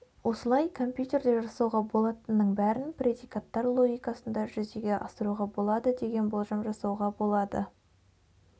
осылай компьютерде жасауға болатынның бәрін предикаттар логикасында жүзеге асыруға болады деген болжам жасауға болады